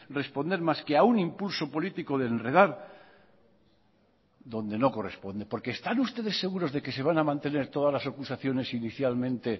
responder más que a un impulso político de enredar donde no corresponde porque están ustedes seguros de que se van a mantener todas las acusaciones inicialmente